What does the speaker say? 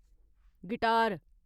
guitar